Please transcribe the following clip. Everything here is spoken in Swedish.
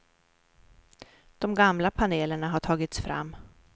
De gamla panelerna har tagits fram.